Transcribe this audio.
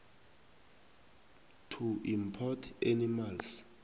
to import animals